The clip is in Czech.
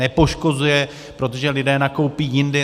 Nepoškozuje, protože lidé nakoupí jindy.